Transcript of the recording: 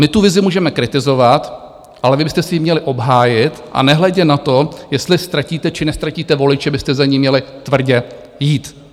My tu vizi můžeme kritizovat, ale vy byste si ji měli obhájit a nehledě na to, jestli ztratíte, či neztratíte voliče, byste za ní měli tvrdě jít.